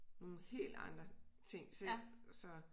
Nogle helt andre ting så